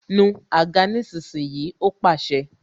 Nu àga nísinsìnyí! Ó pàṣẹ